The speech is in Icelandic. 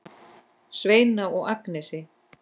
Svenna og Agnesi.